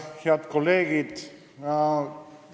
Head kolleegid!